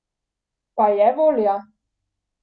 Pa je volja?